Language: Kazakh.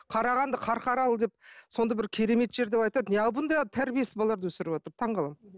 қарағанды қарқаралы деп сондай бір керемет жер деп айтады неғып бұндай тәрбиесіз балаларды өсіріватыр таңғаламын